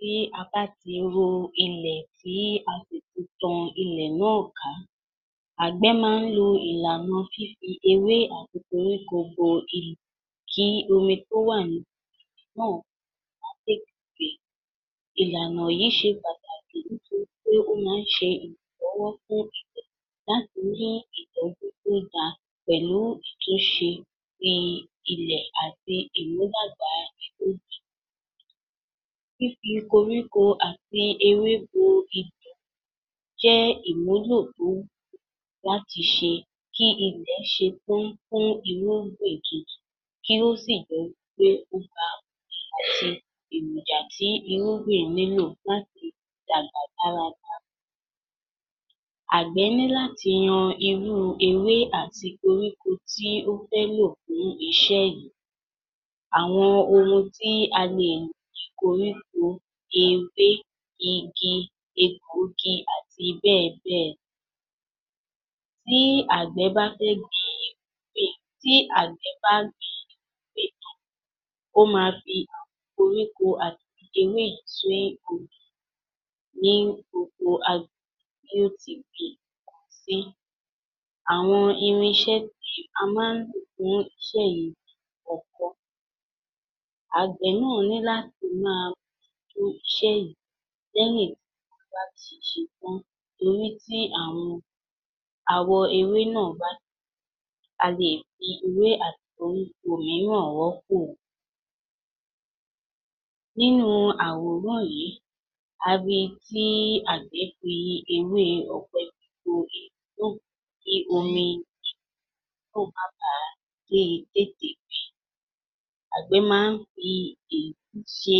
Tí a bá tí ro ilẹ̀ tí a sì tí tan ilẹ̀ náà ká, Àgbẹ̀ máa ń lo ìlànà fífi ewé àti koríko bo ilẹ̀ kí omi tí o wà náà. ìlànà yìí ṣe pàtàkì nítorí pé ó máa ń ṣe ìrànlọ́wọ́ fún ilẹ̀ láti ní ìtọ́jú tó dáa pẹ̀lú ìtúnṣe tí ilẹ̀ ati ìmúdàgbà irúgbìn. Fífi koríko àti ewé bo ilẹ̀ jẹ́ ìwúlò tó wúlò láti ṣe kí ilẹ̀ ṣe fún irúgbìn kí ó sì jẹ́ pé àti èròjà tí irúgbìn nílò láti dàgbà dára dára. Àgbẹ̀ ní láti yan irú ewé àti koríko tí ó fẹ́ lò fún iṣẹ́ yìí. Àwọn ohun tí koríko, ewé, igi, egbòogi àti bẹ́ẹ̀ bẹ́ẹ̀. Tí Àgbẹ̀ bá fẹ́ gbin, tí àgbẹ̀ bá ń gbin ewé yìí tán, ó máa fi àwọn koríko àti ewé yìí sí orí ní oko tó tí gbin nǹkan sí. Àwọn irinṣẹ́ tí a máa ń lò fún iṣẹ́ yìí ni ọkọ́. Àgbẹ̀ náà ní láti máa iṣẹ́ yìí ti ṣe tan torí tí àwọn àwọ̀ ewé náà bá tí a lè fi ewé àti koríko yìí náà rọ́pò. Nínú àwòrán yìí, a rí tí Àgbẹ̀ fi ewé ọ̀pẹ bo tí omi náà má bà á tètè. Àgbẹ̀ máa ń fi èyí ṣe,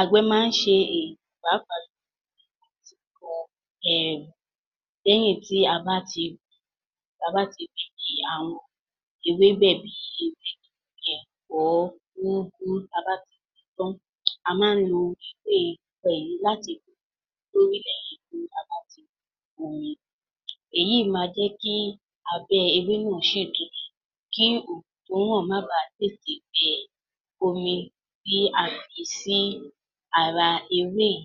Àgbẹ̀ máa ṣe èyí pàápàá jù lọ lẹ́yìn tí a bá ti, lẹ́yìn tí a bá ti ewébẹ̀ bí úgú, tí a bá tí gbìn ín tán. A máa lo láti. èyí máa jẹ́ kí abẹ́ ewé náà ṣì tutù, kí oòrùn tó ràn má bà tètè gbẹ omi tí a fi sí ara ewé yìí.